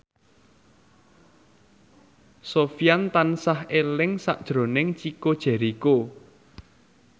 Sofyan tansah eling sakjroning Chico Jericho